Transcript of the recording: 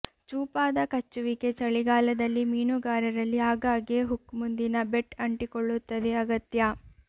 ಚೂಪಾದ ಕಚ್ಚುವಿಕೆ ಚಳಿಗಾಲದಲ್ಲಿ ಮೀನುಗಾರ ರಲ್ಲಿ ಆಗಾಗ್ಗೆ ಹುಕ್ ಮುಂದಿನ ಬೆಟ್ ಅಂಟಿಕೊಳ್ಳುತ್ತದೆ ಅಗತ್ಯ